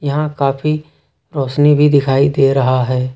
यहां काफी रोशनी भी दिखाई दे रहा है।